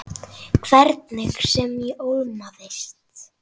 Hvernig sem ég ólmast.